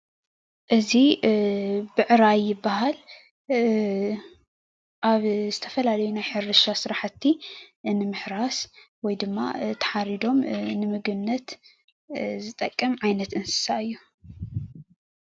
እዚ ብዕራይ ይባሃል ኣብ ዝተፈላለዩ ሕርሻ ስራሕቲ ንምሕራስ ወይ ድማ ተሓሪዶም ንምግብነት ዝጠቅም ዓይነት እንስሳ እዮ።